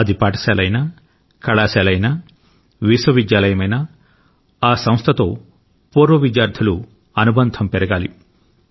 అది పాఠశాల అయినా కళాశాల అయినా విశ్వవిద్యాలయమైనా ఆ సంస్థతో పూర్వ విద్యార్థులు అనుబంధం పెరగాలి